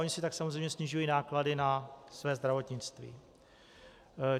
Ony si tak samozřejmě snižují náklady na své zdravotnictví.